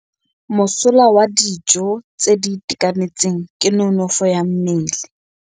Mosola wa dijô tse di itekanetseng ke nonôfô ya mmele.